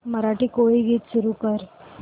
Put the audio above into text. मराठी कोळी गीते सुरू कर